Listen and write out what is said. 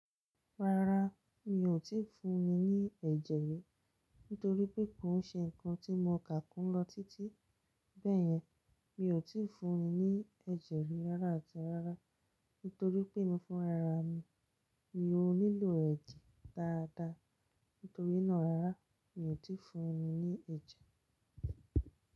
Rárá, mi ò tíì fún un ní ẹ̀jẹ̀ rí, nítorí pé kò n ṣe ǹkan tí mo kà kún lọ títí. Bẹ́yẹn, mi ò tíì fún un ní ẹ̀jẹ̀ rí rárá atí rárá, nítorí pé emi fúnra ra mi. Mò nílò ẹ̀jẹ̀ dáadáa, nítorí náà rárá, mi ò tíì fún un ní ẹ̀jẹ̀.